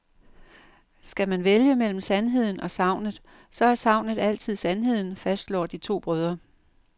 Skal man vælge mellem sandheden og sagnet, så er sagnet altid sandheden, fastslår de to brødre.